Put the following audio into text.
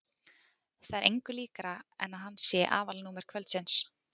Það er engu líkara en hann sé aðalnúmer kvöldsins.